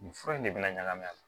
Nin fura in de bɛna ɲagami a la